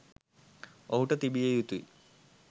ඔහුට තිබිය යුතුයි.